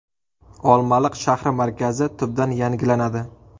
Olmaliq shahri markazi tubdan yangilanadi.